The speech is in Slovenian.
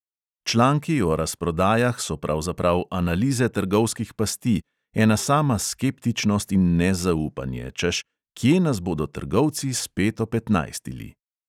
Članki o razprodajah so pravzaprav analize trgovskih pasti, ena sama skeptičnost in nezaupanje, češ, kje nas bodo trgovci spet opetnajstili.